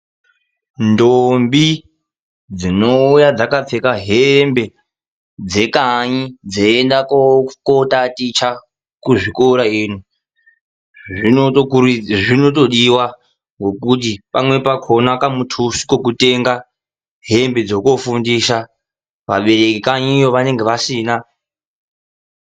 Ndombi dzinouya dzakapfeka hembe dzekanyi dzeienda kotaticha kuzvikora ino zvinotodiwa ngekuti pamweni pakhona kamuthuso kekutenga hembe dzekofundisa vabereki kanyi iyo vanenge vasina.